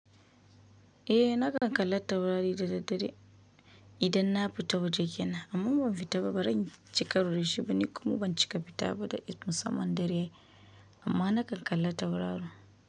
Eh nakan kalla taurari da daddare idan na fita waje kenan amma ban fita ba ban cika ruwan jibi ba kuma ban cika fita ba da irin musamman dare amma nakan kalla tauraro.